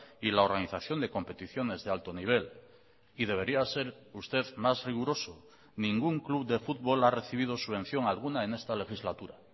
y la organización de competiciones de alto nivel y debería ser usted más riguroso ningún club de futbol ha recibido subvención alguna en esta legislatura